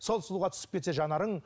сол сұлуға түсіп кетсе жанарың